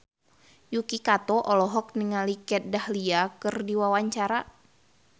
Yuki Kato olohok ningali Kat Dahlia keur diwawancara